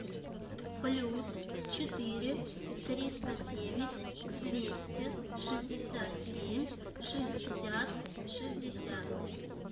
плюс четыре триста девять двести шестьдесят семь шестьдесят шестьдесят